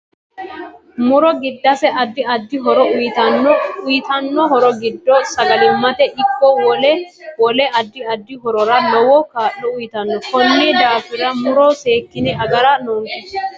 Muro giddase addi addi horo uyiitanno uyiitano horo giddo sagalimate ikko wole wole addi addi horora lowo kaa'lo. uyiitanno koni daafira muro seekine agara noonke